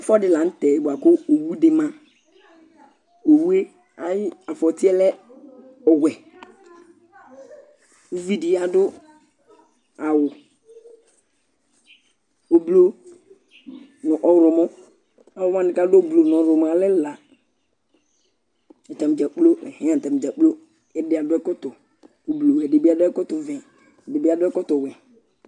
ɛfu ɛdi lantɛ boa kò owu di ma owu yɛ ayi afɔti yɛ lɛ ɔwɛ uvi di adu awu ublu no ɔwlɔmɔ alowani k'adu ublu no ɔwlɔmɔ yɛ alɛ ɛla atani dza kplo atani dza kplo ɔloɛdi adu ɛkɔtɔ ublu ɛdi bi adu ɛkɔtɔ vɛ ɛdi bi adu ɛkɔtɔ wɛ